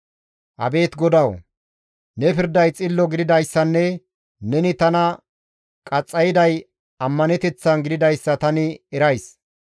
Abeet GODAWU! Ne pirday xillo gididayssanne neni tana qaxxayday ammaneteththan gididayssa tani erays.